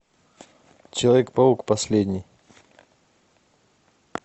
человек паук последний